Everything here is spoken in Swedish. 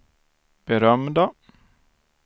berömda